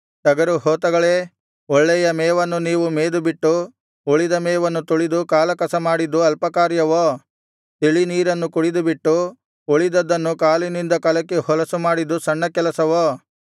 ಟಗರುಹೋತಗಳೇ ಒಳ್ಳೆಯ ಮೇವನ್ನು ನೀವು ಮೇದುಬಿಟ್ಟು ಉಳಿದ ಮೇವನ್ನು ತುಳಿದು ಕಾಲಕಸ ಮಾಡಿದ್ದು ಅಲ್ಪಕಾರ್ಯವೋ ತಿಳಿನೀರನ್ನು ಕುಡಿದುಬಿಟ್ಟು ಉಳಿದದ್ದನ್ನು ಕಾಲಿನಿಂದ ಕಲಕಿ ಹೊಲಸು ಮಾಡಿದ್ದು ಸಣ್ಣ ಕೆಲಸವೋ